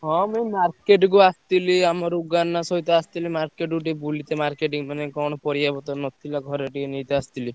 ହଁ ମୁଁ market କୁ ଆସଥିଲି ଆମ ସହିତ ଆସଥିଲି market କୁ ଟିକେ ବୁଲିତେ, marketing ମାନେ କଣ ପରିବାପତ୍ର ନଥିଲା ଘରେ ଟିକେ ନେଇତେ ଆସଥିଲି।